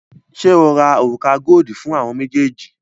Ṣé o ra òrùka godi fún àwọn méjèèjì?